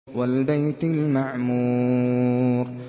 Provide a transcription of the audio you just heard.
وَالْبَيْتِ الْمَعْمُورِ